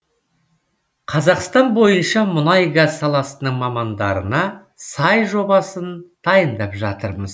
қазақстан бойынша мұнай газ саласының мамандарына сай жобасын дайындап жатырмыз